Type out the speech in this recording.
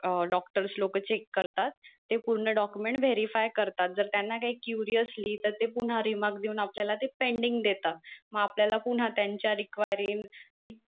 अं doctors लोक check करतात ते पूर्ण document verify करतात जर त्यांना काही query असली तर ते पुन्हा remark देऊन आपल्याला ते pending देतात मग आपल्याला पुन्हा त्यांच्या requary